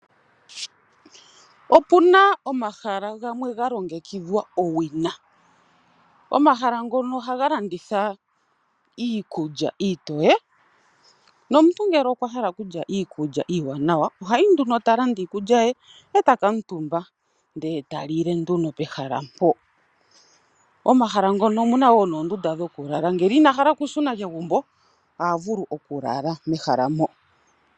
Opu na omahala gamwe ga longekidhwa owina. Omahala ngono ohaga landitha iikulya iitoye nomuntu ngele okwa hala okulya iikulya iiwanawa oha yi nduno e ta landa iikulya ye e ta kuutumba, ndele ta lile nduno pehala mpoka. Momahala mono omu na wo noondunda dhokulala, ngele ina hala okushuna kegumbo oha vulu okulala mehala moka.